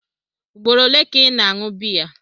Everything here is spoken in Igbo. Ugboro ole ka ị na-aṅụ biya?